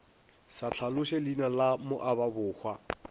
sa hlaloše leina la moababohwa